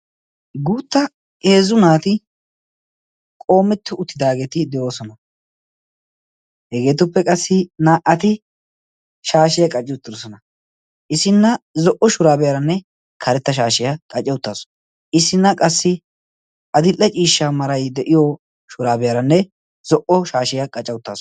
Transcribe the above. guutta eezzu naati qoometto uttidaageeti de"oosona hegeetuppe qassi naa"ati shaashiyaa qacci uttidosona isinna zo"o shuraabiyaaranne karetta shaashiyaa qace uttaasu isinna qassi adille ciishsha marai de'iyo shuraabiyaaranne zo"o shaashiyaa qaca uttaasu